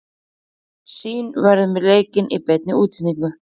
Sýn verður með leikinn í beinni útsendingu.